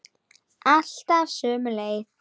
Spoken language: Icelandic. Alltaf sömu leið.